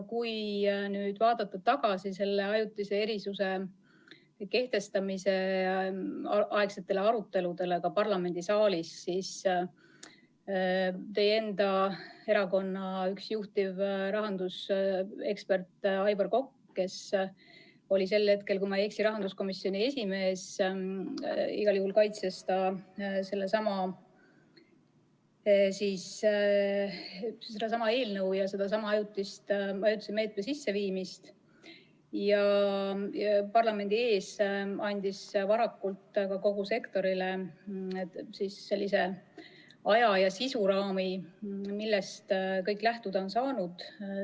Kui vaadata tagasi selle ajutise erisuse kehtestamise ajal parlamendisaalis peetud aruteludele, siis üks teie enda erakonna juhtiv rahandusekspert Aivar Kokk, kes oli sel hetkel, kui ma ei eksi, rahanduskomisjoni esimees, kaitses sedasama eelnõu ja sedasama ajutise meetme sisseviimist ning andis parlamendi ees varakult kogu sektorile ka aja- ja sisuraami, millest kõik on lähtuda saanud.